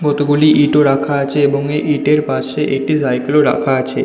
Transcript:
কতগুলি ইঁট ও রাখা আছে এবং এই ইঁটের পাশে একটি সাইকেল -ও রাখা আছে।